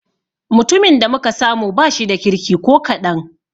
Mutumin da muka samu ba shida kirki ko kaɗan.